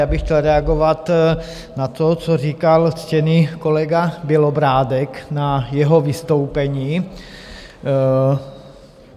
Já bych chtěl reagovat na to, co říkal ctěný kolega Bělobrádek ve svém vystoupení.